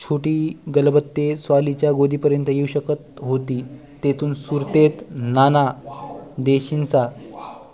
छोटी गलबते स्वाली च्या गोदी पर्यन्त येऊ शकत होती तेथून सुरतेत नाना देशींचा